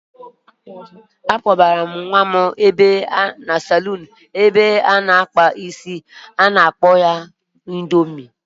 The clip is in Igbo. A kpọgara m nwa m ụlọ ndozi isi ụnyaahụ ka-akpa ya udiri isi ọkpụkpa indoomị